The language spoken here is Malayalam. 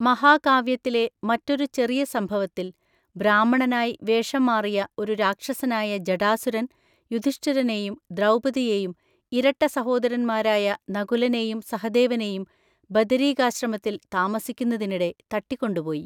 മഹാകാവ്യത്തിലെ മറ്റൊരു ചെറിയ സംഭവത്തിൽ, ബ്രാഹ്മണനായി വേഷംമാറിയ ഒരു രാക്ഷസനായ ജടാസുരന്‍ യുധിഷ്ഠിരനെയും ദ്രൗപദിയെയും ഇരട്ട സഹോദരന്മാരായ നകുലനെയും സഹദേവനെയും ബദരീകാശ്രമത്തിൽ താമസിക്കുന്നതിനിടെ തട്ടിക്കൊണ്ടുപോയി.